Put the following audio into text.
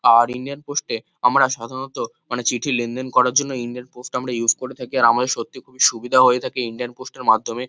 আর Indian post -এ আমরা সাধারণত মানে চিঠি লেনদেন করার জন্য ইন্ডিয়ান পোস্ট আমরা ইউস করে থাকি। আর আমাদের সত্যি খুব সুবিধা হয়ে থাকে ইন্ডিয়ান পোস্ট -এর মাধ্যমে।